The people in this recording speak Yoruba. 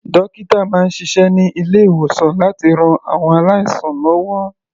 Dókítà máa ń ṣiṣẹ́ ní ilé-ìwòsàn láti ran àwọn aláìsàn lọ́wọ́.